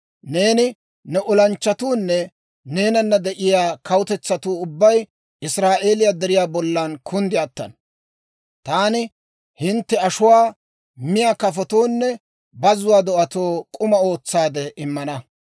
Neeni, ne olanchchatuunne neenana de'iyaa kawutetsatuu ubbay Israa'eeliyaa deriyaa bollan kunddi attana. Taani hintte ashuwaa miyaa kafotoonne bazzuwaa do'atoo k'uma ootsaade immana.